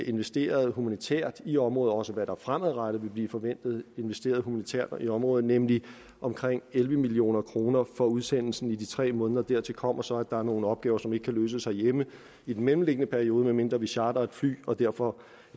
investeret humanitært i området og også hvad der fremadrettet vil blive forventet investeret humanitært i området nemlig omkring elleve million kroner for udsendelsen i de tre måneder dertil kommer så at der er nogle opgaver som ikke kan løses herhjemme i den mellemliggende periode medmindre vi chartrer et andet fly og derfor